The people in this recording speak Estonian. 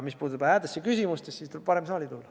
Mis puutub häädesse küsimustesse, siis tuleb varem saali tulla.